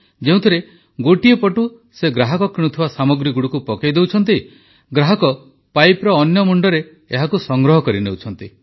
ଯେଉଁଥିରେ ଗୋଟିଏ ପଟୁ ସେ ଗ୍ରାହକ କିଣୁଥିବା ସାମଗ୍ରୀଗୁଡ଼ିକୁ ପକାଇ ଦେଉଛନ୍ତି ଗ୍ରାହକ ପାଇପର ଅନ୍ୟ ମୁଣ୍ଡରେ ଏହାକୁ ସଂଗ୍ରହ କରିନେଉଛନ୍ତି